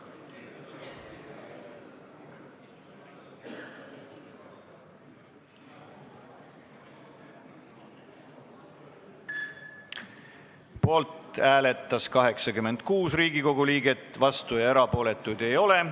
Hääletustulemused Poolt hääletas 86 Riigikogu liiget, vastuolijaid ja erapooletuid ei ole.